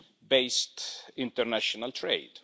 based international trade.